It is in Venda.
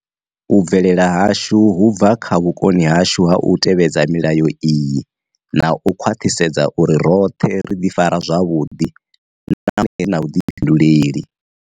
U bvelela hashu hu bva kha vhukoni hashu ha u tevhedza milayo iyi na u khwaṱhisedza uri roṱhe ri ḓifara zwavhuḓi nahone ri na vhuḓifhinduleli.